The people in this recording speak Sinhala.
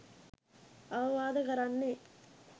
අවවාද කරන්නේ